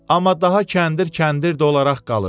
Amma daha kəndir kəndir olaraq qalır.